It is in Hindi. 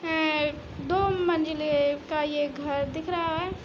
आ ए दो मंजिले का ये घर दिख रहा है।